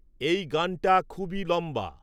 এই গানটা খুবই লম্বা